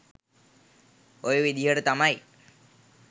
ඔය විදිහට තමයි